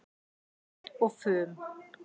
Fát og fum